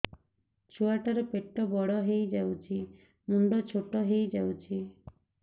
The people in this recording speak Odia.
ଛୁଆ ଟା ର ପେଟ ବଡ ହେଇଯାଉଛି ମୁଣ୍ଡ ଛୋଟ ହେଇଯାଉଛି